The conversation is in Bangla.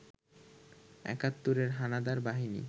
একাত্তরের হানাদার বাহিনী